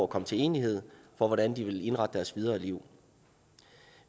komme til enighed om hvordan de vil indrette deres videre liv